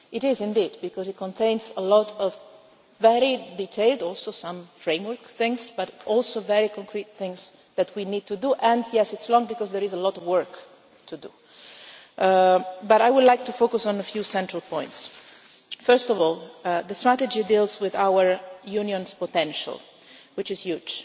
It is indeed because it contains a lot of very detailed and also some framework things, but also very concrete things that we need to do and yes, it is long because there is a lot of work to do, but I would like to focus on a few central points. First of all, the strategy builds using our Union's potential which is huge.